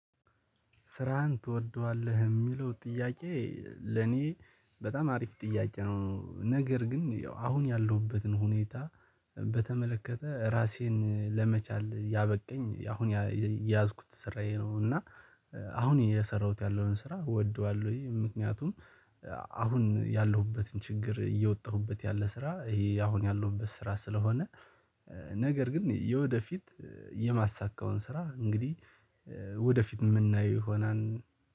ስራህን ትወደዋለህ? የሚለው ጥያቄ ለእኔ በጣም አሪፍ ጥያቄ ነው፤ ነገር ግን ያው አሁን ያለሁበትን ሁኔታ በተመለከተ ራሴን ለመቻል ያበቃኝ አሁን የያዝኩት ስራዬ ነው እና አሁን እየሰራሁት ያለሁትን ስራ ወድጄዋለሁኝ ምክንያቱም አሁን ያለሁበትን ችግር እየወጣሁበት ያለ ስራ ይሄ አሁን ያለሁበት ስራ ስለሆነ ነገር ግን የወደፊት የማሳካውን ስራ እንግዲህ ወደፊት የምናየው ይሆናል።